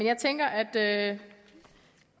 jeg tænker at